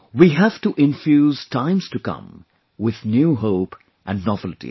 We have to infuse times to come with new hope and novelty